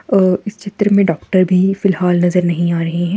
अ इस चित्र में डॉक्टर भी फिलहाल नजर नहीं आ रहे हैं।